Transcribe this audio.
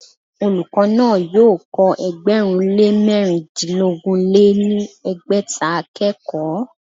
Olùkọ́ náà yóò kọ́ ẹgbẹ̀rún lé mẹ̀rindínogún lé ní ẹgbẹ́ta akẹ́kọ̀ọ́